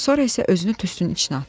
Sonra isə özünü tüstünün içinə atdı.